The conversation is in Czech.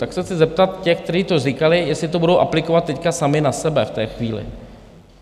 Tak se chci zeptat těch, kteří to říkali, jestli to budou aplikovat teď sami na sebe v té chvíli.